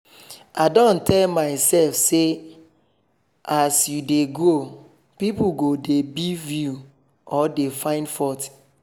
i don tell mysef say as u dey grow pipo go dey beef you or dey fine fault